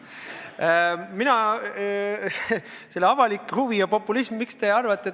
Mina avalikku huvi ja populismi ei vastandaks.